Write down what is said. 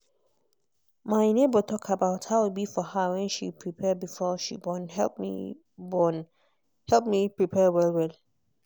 my neighbor talk about how e be for her when she prepare before she borne help me borne help me prepare well well.